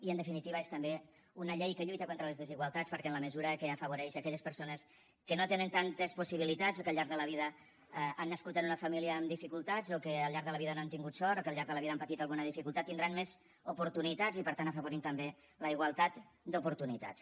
i en definitiva és també una llei que lluita contra les desigualtats perquè en la mesura que afavoreix aquelles persones que no tenen tantes possibilitats o que al llarg de la vida han nascut en una família amb dificultats o que al llarg de la vida no han tingut sort o que al llarg de la vida han patit alguna dificultat tindran més oportunitats i per tant afavorim també la igualtat d’oportunitats